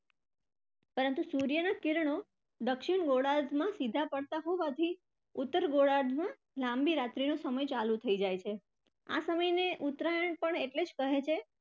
પરંતુ સૂર્યના કિરણો દક્ષિણ ગોળાર્ધમાં સીધા પડતા હોવાથી ઉત્તર ગોળાર્ધમાં લાંબી રાત્રીનો સમય ચાલુ થઇ જાય છે. આ સમયને ઉત્તરાયણ પણ એટલે જ કહે છે.